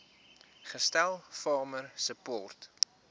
gestel farmer support